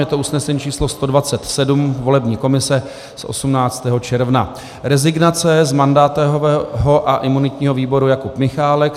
Je to usnesení číslo 127 volební komise z 18. června: Rezignace z mandátového a imunitního výboru Jakub Michálek.